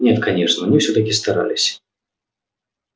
нет конечно мы всё-таки старались